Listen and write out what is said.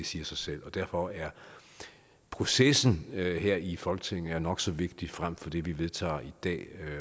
siger sig selv og derfor er processen her i folketinget nok så vigtig frem for det vi vedtager i dag